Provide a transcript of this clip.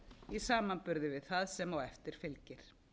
í samanburði við það sem á eftir fylgir